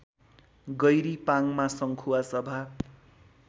गैरी पाङमा संखुवासभा